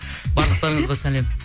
барлықтарыңызға сәлем